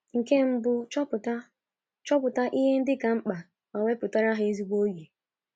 Nke mbụ, chọpụta chọpụta ihe ndị ka mkpa ma wepụtara ha ezigbo oge.